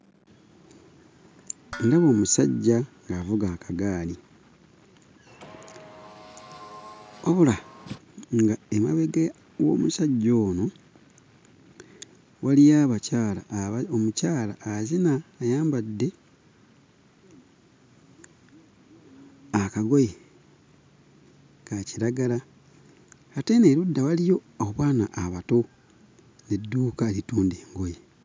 Ndaba omusajja ng'avuga akagaali wabula ng'emabega w'omusajja ono waliyo abakyala aba omukyala azina ayambadde akagoye ka kiragala ate eno erudda waliyo obwana abato n'edduuka eritunda engoye.